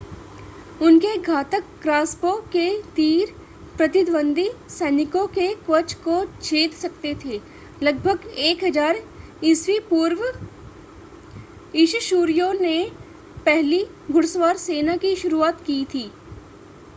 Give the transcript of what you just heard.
उनके घातक क्रॉसबो के तीर प्रतिद्वंद्वी सैनिकों के कवच को छेद सकते थे. लगभग 1000 ई.पू. अश्शूरियों ने पहली घुड़सवार सेना की शुरुआत की थी